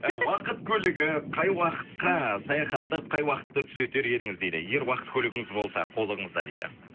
ы уақыт көлігі қай уақытқа саяхаттап қай уақытты түзетер едіңіз дейді егер уақыт көлігіңіз болса қолыңызда дейді